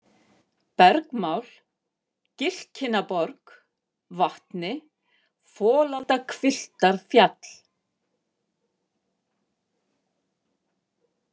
Bergmál, Gilkinnaborg, Vatni, Folaldahvilftarfjall